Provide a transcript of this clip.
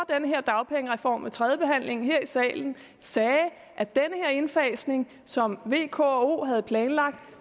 her dagpengereform ved tredjebehandlingen her i salen sagde at den indfasning som v k og o havde planlagt